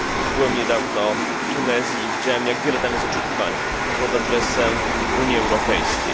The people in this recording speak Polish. Byłem niedawno w Tunezji i widziałem jak wiele tam jest oczekiwań pod adresem Unii Europejskiej.